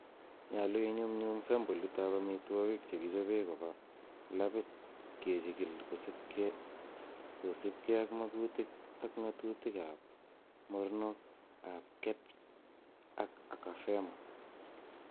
Nyolu iyuum sampolit ab amitwogik chekichobe koba laabit kechigil kosiibge ak makuutik ak ngatitik ab mornok ab KEBS ak AKAFEMA.